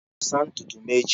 Ị ga-asa ntutu m echi?